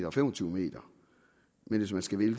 og fem og tyve m men hvis man skal vælge